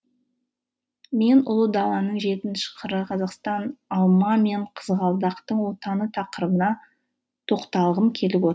мен ұлы даланың жетінші қыры қазақстан алма мен қызғалдақтың отаны тақырыбына тоқталғым келіп